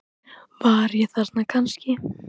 Var ég þarna kannski?